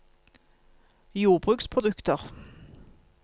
jordbruksprodukter